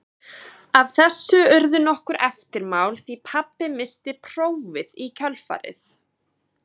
Af þessu urðu nokkur eftirmál því pabbi missti prófið í kjölfarið.